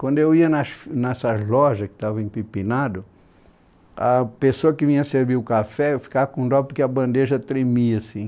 Quando eu ia nas nessas lojas que estavam empipinadas, a pessoa que vinha servir o café ficava com dó porque a bandeja tremia assim.